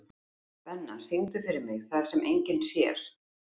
Benna, syngdu fyrir mig „Það sem enginn sér“.